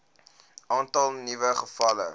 aantal nuwe gevalle